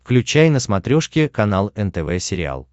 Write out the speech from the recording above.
включай на смотрешке канал нтв сериал